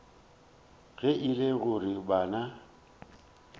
ge e le gore bana